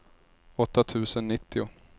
åtta tusen nittio